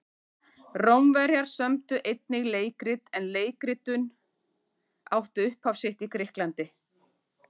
Rómverjar sömdu einnig leikrit en leikritun átti upphaf sitt í Grikklandi.